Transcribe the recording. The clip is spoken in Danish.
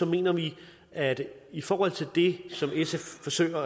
mener vi at i forhold til det som sf forsøger